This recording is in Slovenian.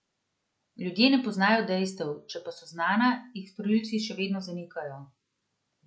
Ljudje ne poznajo dejstev, če pa so znana, jih storilci še vedno zanikajo.